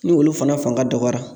Ni olu fana fanga dɔgɔyara